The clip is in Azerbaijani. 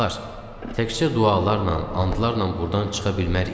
Dostlar, təkcə dualarla, andlarla burdan çıxa bilmərik.